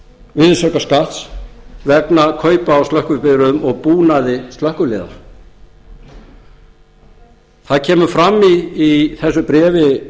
virðisaukaskatts vegna kaupa á slökkvibifreiðum og búnaði slökkviliðanna það kemur fram í þessu bréfi